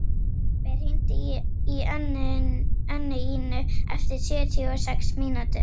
Bambi, hringdu í Önnuínu eftir sjötíu og sex mínútur.